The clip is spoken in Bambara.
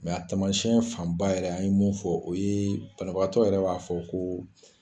Mɛ a tamasiyɛn fanba yɛrɛ , an ye min fɔ o ye banbagatɔ yɛrɛ b'a fɔ ko